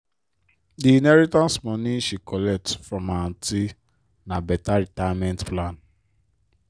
di inheritance money she collect from her aunty na better retirement plan.